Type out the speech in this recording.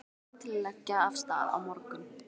Ég er reiðubúinn til að leggja af stað á morgun.